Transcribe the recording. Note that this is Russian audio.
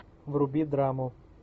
вруби драму